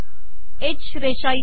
ह रेषा इथे